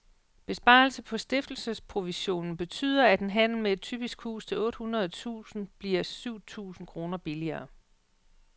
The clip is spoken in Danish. Besparelse på stiftelsesprovisionen betyder, at en handel med et typisk hus til otte hundrede tusind kroner bliver syv tusind kroner billigere.